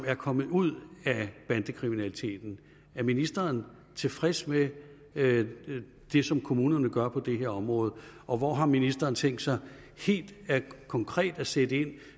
er kommet ud af bandekriminaliteten er ministeren tilfreds med det som kommunerne gør på det her område og hvor har ministeren tænkt sig helt konkret at sætte ind